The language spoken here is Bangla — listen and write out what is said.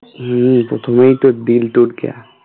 হ্যাঁ প্রথমেই তো दिल टूट गया